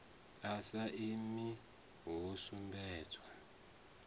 a sa imi ho sumbedzwa